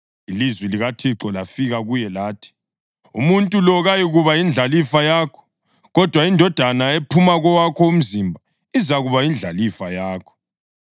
Ilizwi likaThixo lafika kuye lathi: “Umuntu lo kayikuba yindlalifa yakho, kodwa indodana ephuma kowakho umzimba izakuba yindlalifa yakho.”